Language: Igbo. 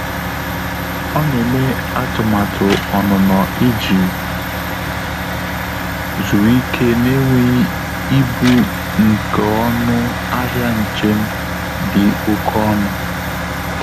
Ọ́ nà-émé àtụ́màtụ́ ọ́nụ́nọ́ ìjí zùrù íké n’énwéghị́ íbù nké ọnụ́ áhị́à njém dị́ óké ọnụ́.